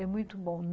É muito bom.